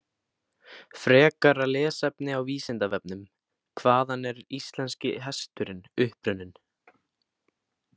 Frekara lesefni á Vísindavefnum: Hvaðan er íslenski hesturinn upprunninn?